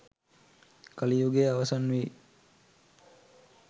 කලි යුගය අවසන් වී